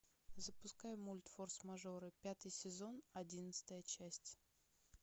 запускай мульт форс мажоры пятый сезон одиннадцатая часть